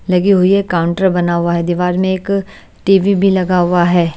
लगी हुई है काउंटर बना हुआ है दीवार में एक टी_वी भी लगा हुआ है।